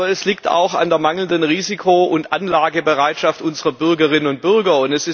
Aber es liegt auch an der mangelnden Risiko und Anlagebereitschaft unserer Bürgerinnen und Bürger.